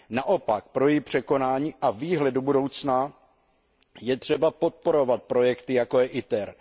Naopak, pro její překonání a výhled do budoucna je třeba podporovat projekty, jako je ITER.